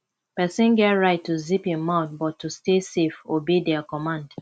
persin get right to zip im mouth but to stay safe obey their command